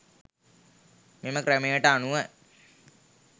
මෙම ක්‍රමයට අනුව